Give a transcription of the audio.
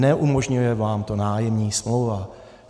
Neumožňuje vám to nájemní smlouva.